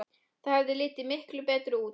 Það hefði litið miklu betur út.